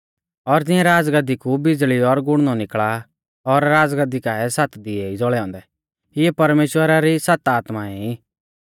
और तिऐं राज़गद्दी कु बिज़ल़ी और गुड़णौ निकल़ा आ और राज़गद्दी काऐ सात दिवै ई ज़ौल़ै औन्दै इऐ परमेश्‍वरा री सात आत्माऐं ई